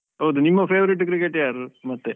ಹೌದು ನಿಮ್ಮ favorite cricketer ಯಾರು ಮತ್ತೆ?